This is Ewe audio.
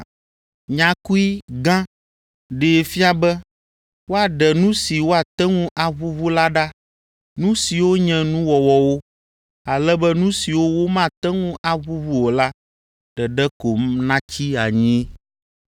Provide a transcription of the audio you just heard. Nyakui “ga” ɖee fia be woaɖe nu si woate ŋu aʋuʋu la ɖa, nu siwo nye nuwɔwɔwo, ale be nu siwo womate ŋu aʋuʋu o la ɖeɖe ko natsi anyi.